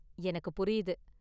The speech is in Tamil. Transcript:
எனக்குப் புரியுது.